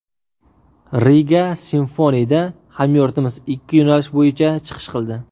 Riga Symphony’da hamyurtimiz ikki yo‘nalish bo‘yicha chiqish qildi.